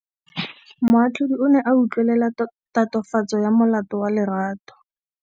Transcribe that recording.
Moatlhodi o ne a utlwelela tatofatsô ya molato wa Lerato.